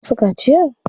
An yi masa kaciya?